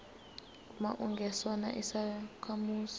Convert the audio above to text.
uma ungesona isakhamuzi